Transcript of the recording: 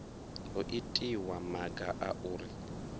ho itiwa maga a uri